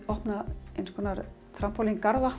opnaðir